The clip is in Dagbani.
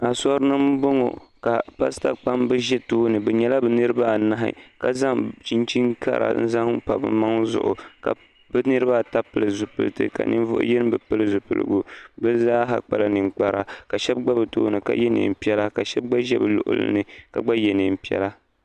asuri n bɔŋɔ ka pasita kpɛbi ʒɛ tuuni be nyɛla be niribaanahi ka zaŋ chinichina kari pa be maŋ zuɣ ka be niribaata pɛli zibilitɛ ka niribaayi be pɛli be zaa kpala nɛkpara ka shɛbi gba be tuuni ka yɛ nɛpiɛlla ka shɛbi gba ʒɛ be luɣili ka gba yɛ nɛpiɛlla